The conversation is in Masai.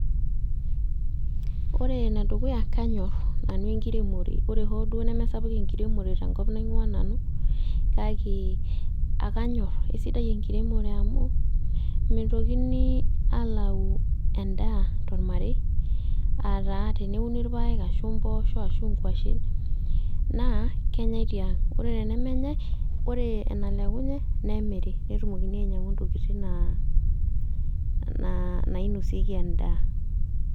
Ore enedukuya, kanyor nanu enkiremore. Ore hoo duo nemesapuk enkiremore tenkop naing'ua nanu, kake ekanyor. Kesidai enkiremore amu, mitokini alau endaa tormarei, ataa teneuni irpaek ashu mpoosho, ashu nkwashen, naa kenyai tiang'. Ore tenemenyai, ore enalekunye, nemiri. Netumoki ainyang'u intokiting nainosieki endaa.